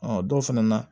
Ɔ dɔw fɛnɛ na